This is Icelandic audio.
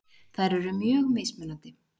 Þær eru mjög mismunandi.